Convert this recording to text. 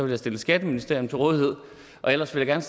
jeg stille skatteministeriet til rådighed og ellers vil jeg